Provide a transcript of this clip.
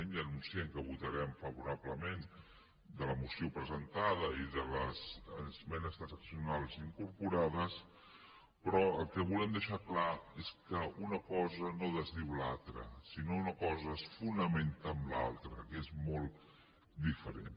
ja anun ciem que votarem favorablement de la moció presentada i de les esmenes transaccionals incorporades però el que volem deixar clar és que una cosa no desdiu l’altra sinó que una cosa es fonamenta en l’altra que és molt diferent